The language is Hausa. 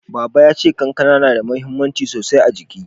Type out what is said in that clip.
Baba ya ce kankana na da mahimmanci a jiki sosai